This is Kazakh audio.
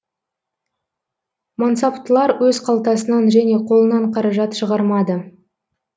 мансаптылар өз қалтасынан және қолынан қаражат шығармады